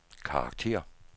karakter